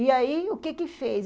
E aí o que que fez?